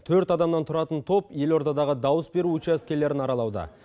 төрт адамнан тұратын топ елордадағы дауыс беру учаскелерін аралауда